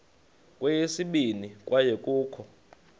kweyesibini kwaye kukho